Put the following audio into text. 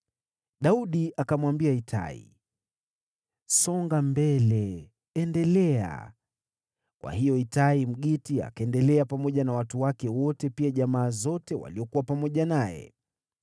Daudi akamwambia Itai, “Songa mbele, endelea.” Kwa hiyo Itai, Mgiti, akaendelea pamoja na watu wake wote, pia jamaa zote waliokuwa pamoja naye.